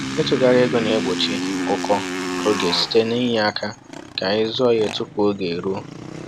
Ịtụgharị ego na-egbochi ụkọ oge site n’inye aka ka anyị zụọ ihe tupu oge eruo